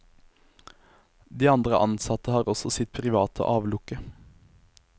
De andre ansatte har også sitt private avlukke.